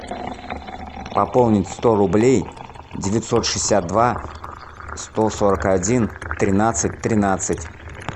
пополнить сто рублей девятьсот шестьдесят два сто сорок один тринадцать тринадцать